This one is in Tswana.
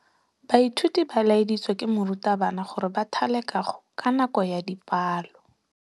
Baithuti ba laeditswe ke morutabana gore ba thale kagô ka nako ya dipalô.